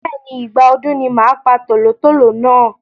Bẹ́ẹ̀ni, Ìgbà ọdún ni màá pa tòlótòló náà.